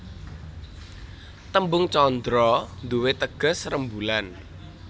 Tembung candra nduwé teges rembulan